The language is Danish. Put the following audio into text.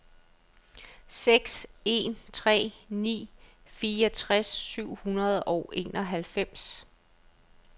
seks en tre ni fireogtres syv hundrede og enoghalvfems